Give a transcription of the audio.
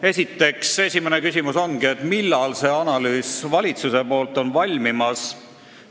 Esimene küsimus ongi, millal see valitsuse analüüs on valmimas.